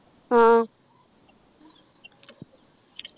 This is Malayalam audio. ആഹ്